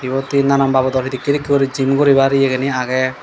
iyot he nanan babudor hedekkey hedekkey uri gym guribar yegeni agey.